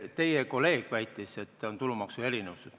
Teie kolleeg väitis, et on tulumaksuerinevused.